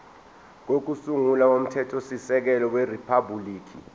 kokusungula komthethosisekelo weriphabhuliki